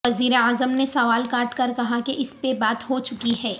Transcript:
وزیر اعظم نے سوال کاٹ کر کہا کے اس پہ بات ھو چکی ھے